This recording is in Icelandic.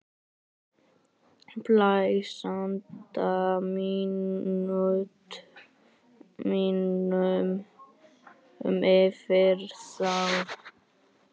Blæs anda mínum yfir þá.